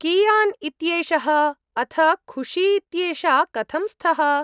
कियान् इत्येषः अथ खुशी इत्येषा कथं स्तः?